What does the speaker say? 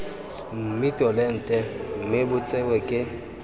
mmitolente mme bo tsewe ke